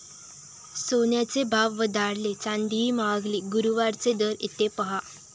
सोन्याचे भाव वधारले, चांदीही महागली. गुरुवारचे दर इथे पाहा